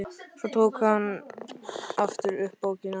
Svo tók hún aftur upp bókina.